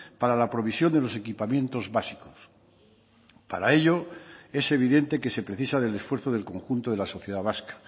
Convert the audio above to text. para la provisión de los equipamientos básicos para ello es evidente que se precisa del esfuerzo del conjunto de la sociedad vasca